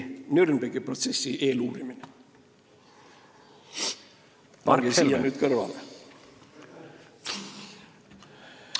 Nürnbergi protsessi eeluurimine kestis 13 kuud.